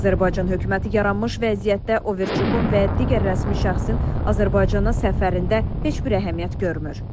Azərbaycan hökuməti yaranmış vəziyyətdə Overçukun və digər rəsmi şəxsin Azərbaycana səfərində heç bir əhəmiyyət görmür.